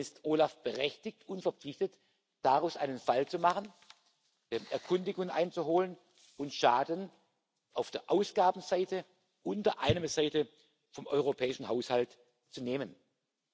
Dann ist OLAF berechtigt und verpflichtet, daraus einen Fall zu machen, Erkundigungen einzuholen und Schaden auf der Ausgabenseite und der Einnahmenseite vom europäischen Haushalt abzuwenden.